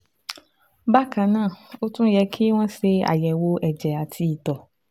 Bákan náà, ó tún yẹ kí wọ́n ṣe àyẹ̀wò ẹ̀jẹ̀ àti ìtọ̀